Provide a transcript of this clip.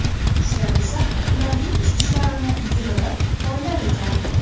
Qushlar esa ularning chiqishlarini yig‘ilib, poylar ekan.